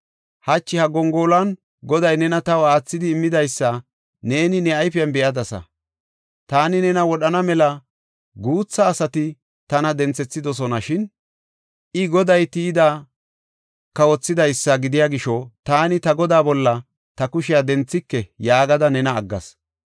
Hachi ha gongoluwan Goday nena taw aathidi immidaysa neeni ne ayfen be7adasa. Taani nena wodhana mela guutha asati tana denthethidosona. Shin, “I, Goday tiyidi kawothidaysa gidiya gisho taani ta godaa bolla ta kushiya denthike” yaagada nena aggas.